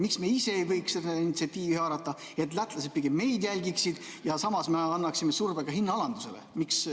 Miks me ise ei võiks seda initsiatiivi haarata, et lätlased pigem meid jälgiksid, ja samas me annaksime surve ka hinnaalandusele?